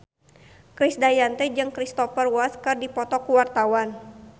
Krisdayanti jeung Cristhoper Waltz keur dipoto ku wartawan